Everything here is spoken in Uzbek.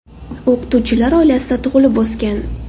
O‘qituvchilar oilasida tug‘ilib o‘sgan.